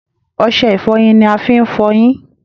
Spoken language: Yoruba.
Ọṣẹ ìfọyín ni a fi ń f'ọyín.